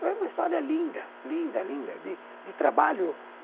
Foi uma história linda, linda, linda, de de trabalho.